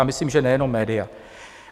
A myslím, že nejenom média.